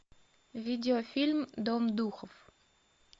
видеофильм дом духов